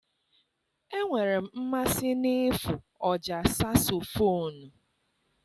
Enwere m mmasị n'ịfụ ọjà sasofonu.